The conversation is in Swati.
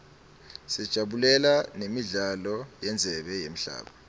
sajabulela nemidlalo yendzebe yemhlaba